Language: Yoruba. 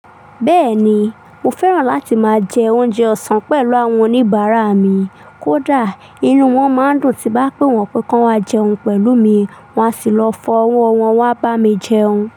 Bẹ́ẹ̀ni, mo fẹ́ràn láti máa jẹ oúnjẹ ọ̀sán pẹ̀lú àwọn oníbàárà mi, kódà inú wọ́n máa ń dùn tí bá pé wọ́n pé ká wá jẹun pẹ̀lú mi, wọ́n á sì lọ fọ ọwọ́ wọn wá bá mi jẹun.